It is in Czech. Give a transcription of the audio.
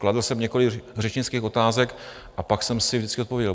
Kladl jsem několik řečnických otázek a pak jsem si vždycky odpověděl.